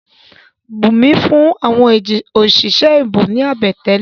Bùnmí fún àwọn òṣìṣẹ́ ìbò ní àbẹ̀tẹ́lẹ̀.